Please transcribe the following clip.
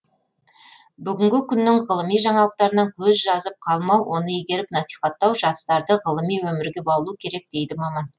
бүгінгі күннің ғылыми жаңалықтарынан көз жазып қалмау оны игеріп насихаттау жастарды ғылыми өмірге баулу керек дейді маман